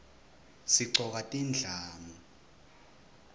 sigcoka tindlamu